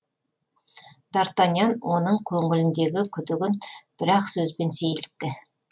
дартаньян оның көңіліндегі күдігін бір ақ сөзбен сейілтті